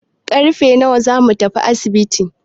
Karfe nawa zamu tafi asibitin?